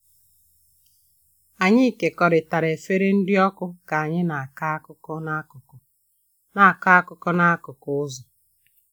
Anyị kekọrịtara efere nri ọkụ ka anyị na-akọ akụkọ n'akụkụ na-akọ akụkọ n'akụkụ ụzọ.